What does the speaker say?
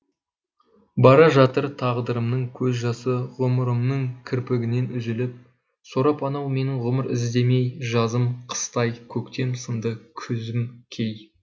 бара жатыр тағдырымның көз жасы ғұмырымның кірпігінен үзіліп сорап анау менің ғұмыр ізімдей жазым қыстай көктем сынды күзім кей